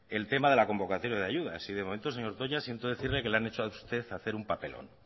el tema de la convocatoria de ayudas y de momento señor toña siento decirle que le han hecho a usted hacer un papelón